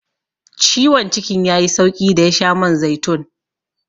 Ciwon cikin ya yi sauƙi da ya sha man zaitun.